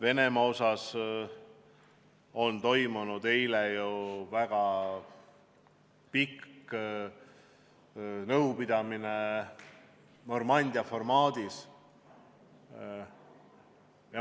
Eile toimus väga pikk nõupidamine Normandia formaadis.